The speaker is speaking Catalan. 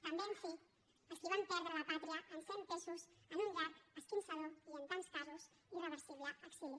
també en fi els qui van perdre la pàtria en ser empesos en un llarg esquinçador i en tants casos irreversible exili